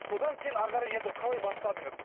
содан кейін ары қарай енді қалай бастадыңыз